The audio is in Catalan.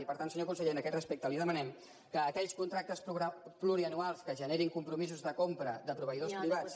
i per tant senyor conseller en aquest respecte li demanem que aquells contractes plurianuals que generin compromisos de compra de proveïdors privats